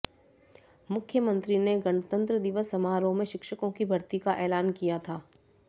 मुख्यमंत्री ने गणतंत्र दिवस समारोह में शिक्षकों की भर्ती का ऐलान किया था